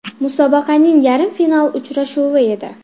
Musobaqaning yarim final uchrashuvi edi.